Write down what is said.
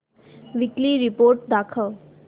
weekly report दाखव